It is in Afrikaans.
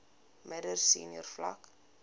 middel senior vlak